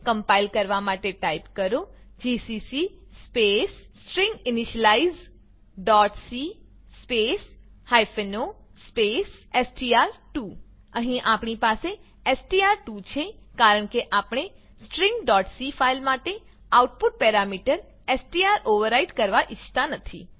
compile કરવા માટે type કરો જીસીસી સ્પેસ stringinitializeસી સ્પેસ o સ્પેસ એસટીઆર2 અહીં આપણી પાસે એસટીઆર2 છે કારણ કે આપણે stringસી ફાઈલ માટે આઉટપુટ પેરામીટર એસટીઆર ઓવરરાઈટ કરવા ઈચ્છતા નથી